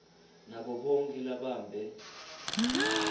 nabo bonkhe lababambe